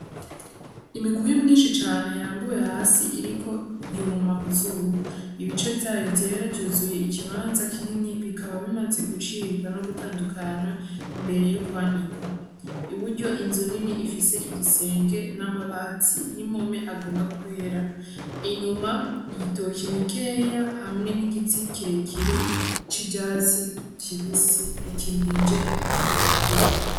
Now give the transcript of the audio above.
Imikubi myinshi cane yarambuwe hasi iriko yuma kuzuba , ibice vyayo vyera vyuzuye ikibanza kinini bikaba bimaze gucibwa no gutandukanwa imbere yo kwanikwa , iburyo inzu nini ifise igisenge n’amabati n’impome agomba kwera, inyuma ibitoke bikeya hamwe n’igitsi kirekire c’ivyatsi kibisi gikingije iyo mikuyo.